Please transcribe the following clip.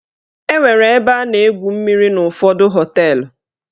Enwere ebe a na-egwu mmiri n'ụfọdụ họteelụ.